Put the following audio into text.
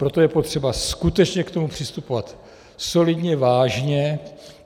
Proto je potřeba skutečně k tomu přistupovat solidně, vážně.